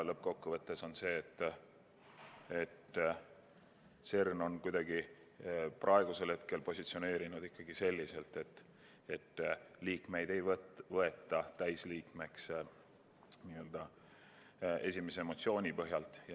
Lõppkokkuvõttes on nii, et CERN on praegusel hetkel positsioneerinud selliselt, et kedagi ei võeta täisliikmeks n-ö esimese emotsiooni põhjal.